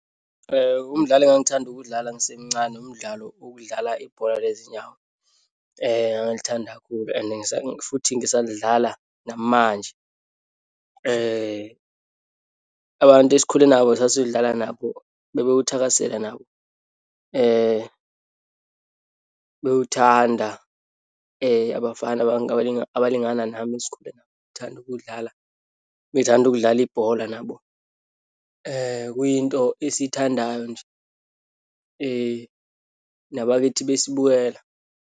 Umdlalo engangithanda ukuwudlala ngisemncane umdlalo wokudlala ibhola lezinyawo. Ngangilithanda kakhulu and futhi ngisalidlala namanje. Abantu esikhule nabo sasilidlala nabo bebewuthakasele nabo, bewuthanda abafana bonke abalingana nami esikhule nabo. Ngithanda ukuwudlala, bethanda ukudlala ibhola nabo. Kuyinto esiyithandayo nje, nababethi besibukela.